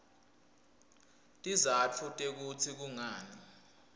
tizatfu tekutsi kungani